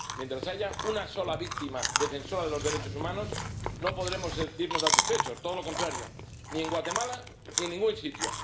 Mientras haya una sola víctima defensora de los derechos humanos, no podremos sentirnos satisfechos —todo lo contrario— ni en Guatemala ni en ningún sitio.